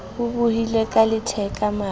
o bohlile ka letheka maru